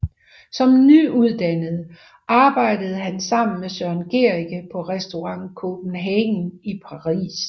Som nyuddannet arbejdede han sammen med Søren Gericke på Restaurant Copenhague i Paris